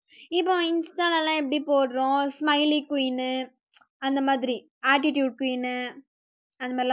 இப்போ insta எல்லாம் எப்படி போடுறோம் smiley queen அந்த மாதிரி attitude queen அது மாரி எல்லாம்